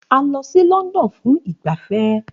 A lọ sí London fún ìgbafẹ́